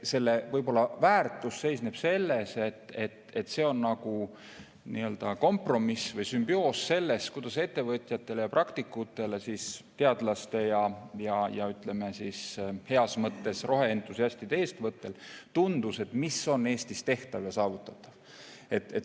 Analüüsi väärtus seisneb selles, et see on kompromiss või sümbioos sellest, kuidas ettevõtjatele ja praktikutele, teadlastele ja, ütleme, heas mõttes roheentusiastidele tundub, mis on Eestis tehtav ja saavutatav.